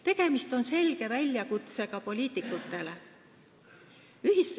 Tegemist on väljakutsega poliitikutele.